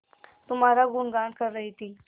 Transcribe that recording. तुम्हारा गुनगान कर रही थी